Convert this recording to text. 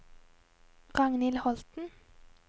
Ragnhild Holten